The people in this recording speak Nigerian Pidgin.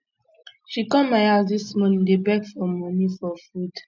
she come my house dis morning dey beg for money um for food